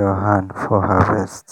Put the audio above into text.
your hand for harvest.